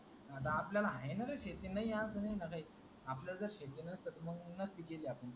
अर आपल्याला आहे नार शेती अजून येणार हाय आपल्याला जर शेती नसती तर नसत केल आपल्याला